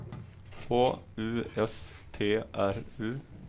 H U S T R U